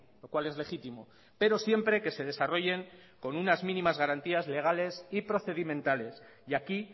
lo cual es legítimo pero siempre que se desarrollen con unas mínimas garantías legales y procedimentales y aquí